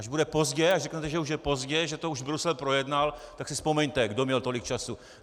Až bude pozdě, až řeknete, že už je pozdě, že to už Brusel projednal, tak si vzpomeňte, kdo měl tolik času.